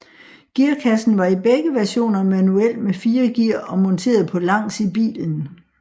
Gearkassen var i begge versioner manuel med fire gear og monteret på langs i bilen